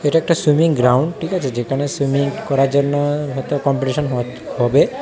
এটা একটা swimming ground ঠিক আছে যেখানে সুইমিং করার জন্য হয়তো কম্পিটিশন হয় হবে।